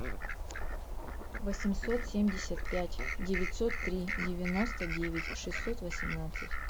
восемьсот семьдесят пять девятьсот три девяносто девять шестьсот восемнадцать